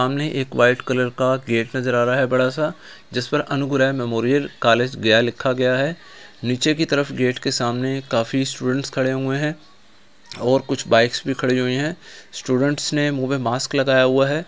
सामने एक white colour का गेट नजर आ रहा है बड़ा-सा जिस पर अनुग्रह मेमोरियल कॉलेज गया लिखा गया है नीचे की तरफ गेट के सामने काफी स्टूडेंट्स खड़े हुए हैं और कुछ बाइक्स भी खड़ी हुई है स्टूडेंट्स ने मुंह में मास्क लगाए हुआ है।